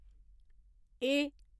ए